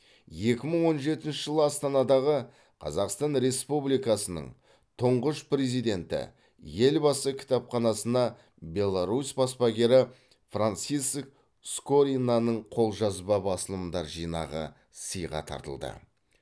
екі мың он жетінші жылы астанадағы қазақстан республикасының тұңғыш президенті елбасы кітапханасына беларусь баспагері франциск скоринаның қолжазба басылымдар жинағы сыйға тартылды